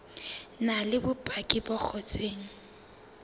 na le bopaki bo ngotsweng